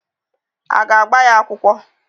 Aga agba ya akwụkwọ?